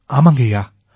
ஆமாங்கய்யா